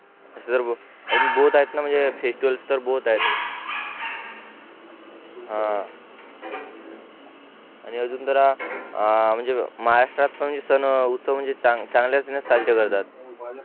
सर्व BOTH आहेतना म्हणजे FESTIVALS BOTH आहेत हा आणि अजून जरा आ महाराष्ट्रात पण सण उत्सव चांगल्या पद्धतीने साजरे करतात